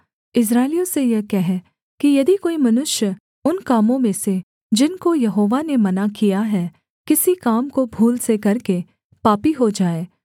इस्राएलियों से यह कह कि यदि कोई मनुष्य उन कामों में से जिनको यहोवा ने मना किया है किसी काम को भूल से करके पापी हो जाए